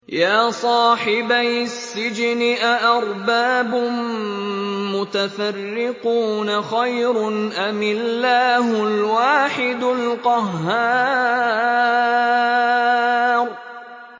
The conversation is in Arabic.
يَا صَاحِبَيِ السِّجْنِ أَأَرْبَابٌ مُّتَفَرِّقُونَ خَيْرٌ أَمِ اللَّهُ الْوَاحِدُ الْقَهَّارُ